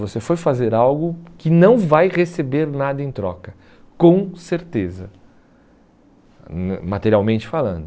Você foi fazer algo que não vai receber nada em troca, com certeza, hum materialmente falando.